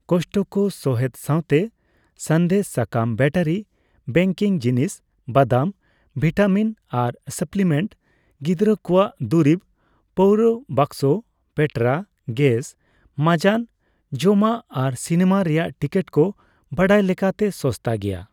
ᱠᱚᱥᱴᱠᱳ ᱥᱚᱦᱮᱫ ᱥᱟᱣᱛᱮ ᱥᱟᱸᱫᱮᱫ ᱥᱟᱠᱟᱢ, ᱵᱮᱴᱟᱨᱤ, ᱵᱮᱠᱤᱝ ᱡᱤᱱᱤᱥ, ᱵᱟᱫᱟᱢ; ᱵᱷᱤᱴᱟᱢᱤᱱ ᱟᱨ ᱥᱟᱯᱯᱞᱤᱢᱮᱱᱴ, ᱜᱤᱫᱽᱨᱟᱹ ᱠᱚᱣᱟᱜ ᱫᱩᱨᱤᱵ , ᱯᱟᱹᱣᱨᱟᱹ, ᱵᱟᱠᱥᱚ ᱯᱮᱸᱴᱨᱟ, ᱜᱮᱥ, ᱢᱟᱸᱡᱟᱱ ᱡᱚᱢᱟᱜ ᱟᱨ ᱥᱤᱱᱮᱢᱟ ᱨᱮᱭᱟᱜ ᱴᱤᱠᱤᱴ ᱠᱚ ᱵᱟᱰᱟᱭ ᱞᱮᱠᱟᱛᱮ ᱥᱚᱥᱛᱟ ᱜᱮᱭᱟ ᱾